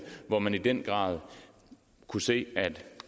hvor man i den grad kunne se at